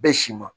Bɛɛ si ma